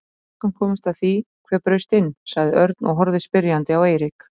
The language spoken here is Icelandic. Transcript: Hefur löggan komist að því hver braust inn? sagði Örn og horfði spyrjandi á Eirík.